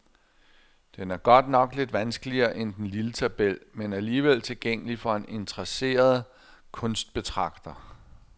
Den er godt nok lidt vanskeligere end den lille tabel, men alligevel tilgængelig for en interesseret kunstbetragter.